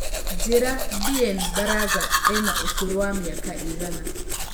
njĩira Bien baraza ena ũkũrũ wa mĩaka ĩigana